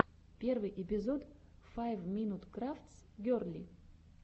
первый эпизод файв минут крафтс герли